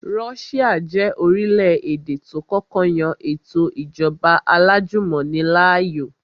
Russia jẹ́ orílẹ̀-èdè tó kọ́kọ́ yan ètò ìjọba alájùmọ̀ni láàyò